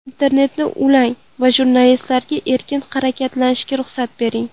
Internetni ulang va jurnalistlarga erkin harakatlanishiga ruxsat bering.